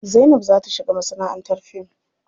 Zainab za ta shiga masanaʼantar fim.